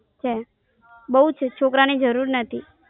Sem બોવ જ છોકરા ની જરૂર નથી.